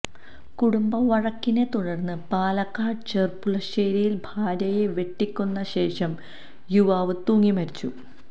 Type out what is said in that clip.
കുടുംബവഴക്കിനെ തുടര്ന്ന് പാലക്കാട് ചെര്പ്പുളശ്ശേരിയില് ഭാര്യയെ വെട്ടിക്കൊന്ന ശേഷം യുവാവ് തൂങ്ങിമരിച്ചു